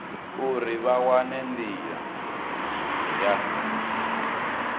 uri vha wane ndila ya